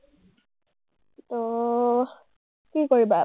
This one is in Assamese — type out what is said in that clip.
অ, কি কৰিবা